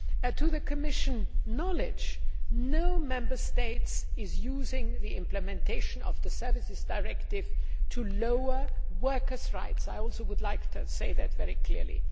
To the Commission's knowledge, no Member State is using the implementation of the Services Directive to reduce workers' rights. I would like to say that very clearly.